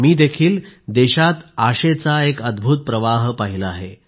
मी देखील देशात आशेचा एक अद्भुत प्रवाह पाहिला आहे